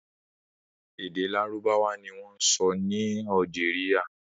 Èdè Lárúbáwá ni wọ́n ń sọ ni Algeria.